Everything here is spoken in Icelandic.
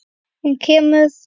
Hún kemur!